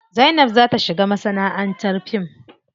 Zainab za ta shiga masanaʼantar fim.